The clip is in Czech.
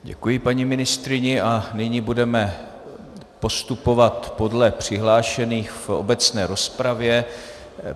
Děkuji paní ministryni a nyní budeme postupovat podle přihlášených v obecné rozpravě.